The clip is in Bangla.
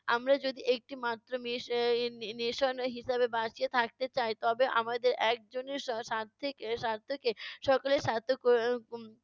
আমরা যদি একটি মাত্র nation হিসেবে বাঁচিয়া থাকতে চাই তবে আমাদের একজনের সা~ স্বার্থেকে স্বার্থকে সকলের স্বার্থ ক~ উম